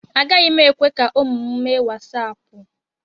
Agaghị m ekwe ka ụmụ m mee wasaapụ.